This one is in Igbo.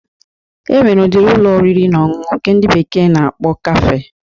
E nwere udiri Ụlọ oriri na ọṅụṅụ nke ndị bekee na-akpọ kafe